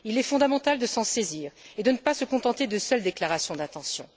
Il est fondamental de s'en saisir et de ne pas se contenter de seules déclarations d'intention.